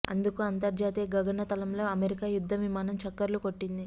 అందుకు అంతర్జాతీయ గగన తలంలో అమెరికా యుద్ధ విమానం చక్కర్లు కొట్టింది